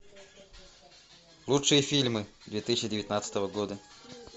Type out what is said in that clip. лучшие фильмы две тысячи девятнадцатого года